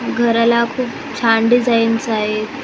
घराला खूप छान डिझाईन्स आहेत .